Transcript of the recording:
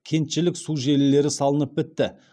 кентішілік су желілері салынып бітті